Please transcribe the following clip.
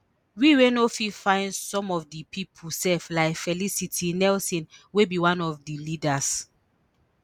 we we no fit find some of di pipo sef like felicity nelson wey be one of di leaders